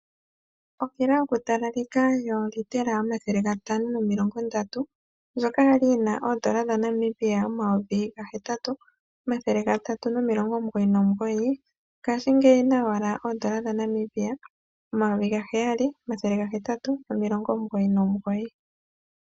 Okila yoku talaleka yoliitela omathele gatano momilonga ndatu, ndjoka yali yina oodola dhaNamibia omayovi gahetatu, omathele gatatu momilongo omugoyi nomugoyi, ngashi ngeyi oyina owala oodola dhaNamibia omayovi gaheyali, omathele gahetatu momilonga omugoyi nomugoyi.